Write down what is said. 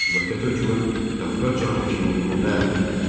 Müvəqqəti hökumət Qafqaz canişinliyini ləğv etdi.